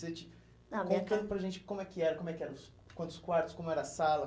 Ah, a minha ca... Conta para a gente como é que era, como é que era os, quantos quartos, como era a sala.